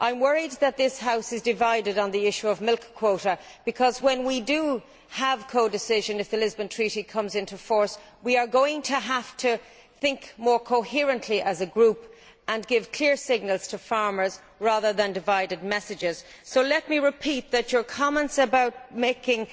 I am worried that this House is divided on the issue of milk quotas because when we have codecision, if the Lisbon Treaty comes into force, we are going to have to think more coherently as a group and give clear signals to farmers rather than divided messages, so let me repeat that your comments about making